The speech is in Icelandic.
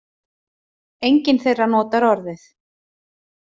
Enginn þeirra notar orðið